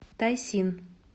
тайсин